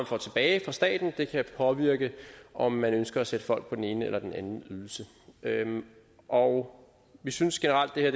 får tilbage fra staten kan påvirke om man ønsker at sætte folk på den ene eller den anden ydelse og vi synes generelt det her